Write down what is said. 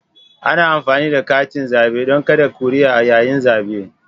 Ana amfani da katin zabe don kada kuri'a yayin zabe.